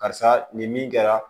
Karisa nin min kɛra